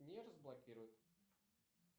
не разблокирует